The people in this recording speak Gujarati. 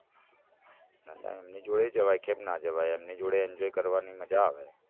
ના ના એમની જોડેય જવાય કેમ ના જવાય એમની જોડે enjoy કરવાની મજા આવે